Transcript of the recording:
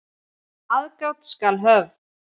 Aðgát skal höfð.